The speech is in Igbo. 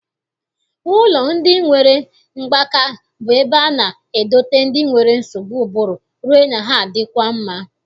Ụlọ ndị nwere mgbaka bụ ebe a na-edote ndị nwere nsogbu ụbụrụ rue na ha adịkwa mma.